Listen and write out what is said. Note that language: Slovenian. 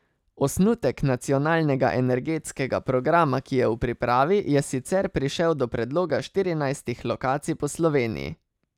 Osnutek nacionalnega energetskega programa, ki je v pripravi, je sicer prišel do predloga štirinajstih lokacij po Sloveniji.